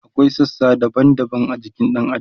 akwai sassa daban daban a jikin ɗan adam